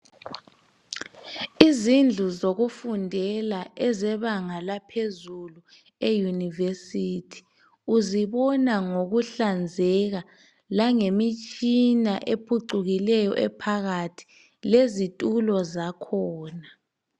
Izindlu zokufundela ezebanga laphezulu eyunivesithi uzibona ngokuhlanzeka, langemitshina ephucukileyo ephakathi, lezitulo zakhona.